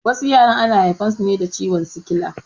Wasu yaran ana haifan su ne da ciwon sikila